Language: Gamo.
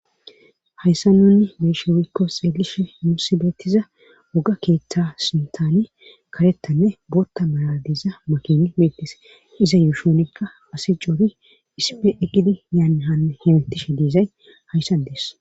hayssa nunni beeshe woykko xeelishe nuusi beettiza woga keeththa sinthani kareththanne booththa malatiza makin meetes iza yuushunikka asi coori isipe iqidi yaane hanne hemtishe diizay hayssa dees